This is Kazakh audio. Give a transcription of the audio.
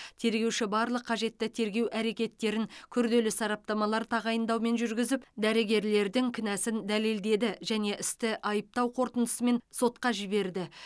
тергеуші барлық қажетті тергеу әрекеттерін күрделі сараптамалар тағайындаумен жүргізіп дәрігерлердің кінәсін дәлелдеді және істі айыптау қорытындысымен сотқа жіберді